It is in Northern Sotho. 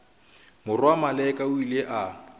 morwa maleka o ile a